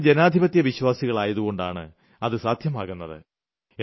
നമ്മൾ ജനാധിപത്യവിശ്വാസികളായതുകൊണ്ടാണ് അതു സാധ്യമാകുന്നത്